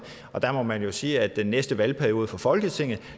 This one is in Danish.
der må man jo sige at den næste valgperiode for folketinget